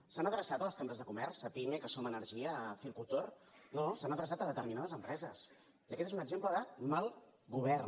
s’han adreçat a les cambres de comerç cepyme som energia circutor no s’ha adreçat a determinades empreses i aquest és un exemple de mal govern